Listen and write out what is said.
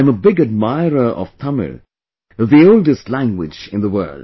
I am a big admirer of Tamil, the oldest language in the world